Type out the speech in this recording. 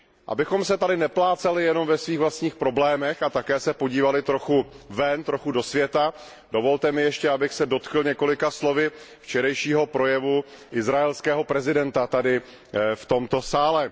Abychom se tady neplácali jenom ve svých vlastních problémech a také se podívali trochu ven, trochu do světa, dovolte mi ještě, abych se dotkl několika slovy včerejšího projevu izraelského prezidenta tady, v tomto sále.